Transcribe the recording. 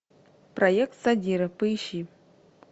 проект задира поищи